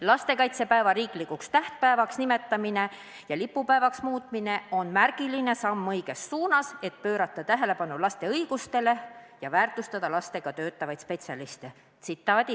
Lastekaitsepäeva riiklikuks tähtpäevaks nimetamine ja lipupäevaks muutmine on märgiline samm õiges suunas, et pöörata tähelepanu laste õigustele ja väärtustada lastega töötavaid spetsialiste.